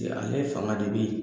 ale fanga de bɛ